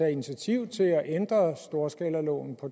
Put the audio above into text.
initiativ til at ændre storskalaloven på